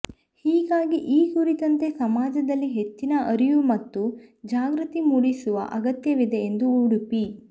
ಹೀಗಾಗಿ ಈ ಕುರಿತಂತೆ ಸಮಾಜದಲ್ಲಿ ಹೆಚ್ಚಿನ ಅರಿವು ಮತ್ತು ಜಾಗೃತಿ ಮೂಡಿಸುವ ಅಗತ್ಯವಿದೆ ಎಂದು ಉಡುಪಿ